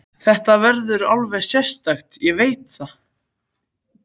Þetta verður eitthvað alveg sérstakt, ég veit það.